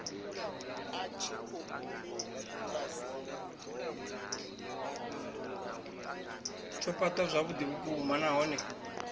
tsho fhaṱwa zwavhuḓi vhukuma nahone